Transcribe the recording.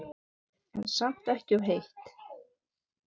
En samt ekki of heitt.